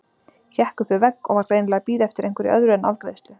Hékk upp við vegg og var greinilega að bíða eftir einhverju öðru en afgreiðslu.